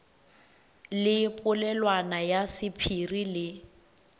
le polelwana ya sephiri le